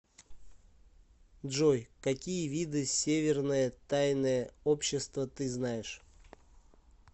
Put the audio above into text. джой какие виды северное тайное общество ты знаешь